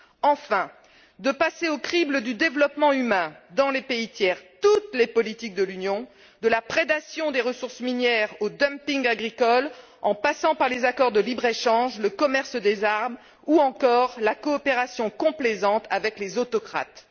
enfin, de passer au crible du développement humain, dans les pays tiers, toutes les politiques de l'Union, de la prédation des ressources minières au dumping agricole, en passant par les accords de libre échange, le commerce des armes ou encore la coopération complaisante avec les autocrates.